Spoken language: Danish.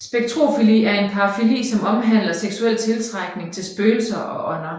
Spectrofili er en parafili som omhandler seksuel tiltrækning til spøgelser og ånder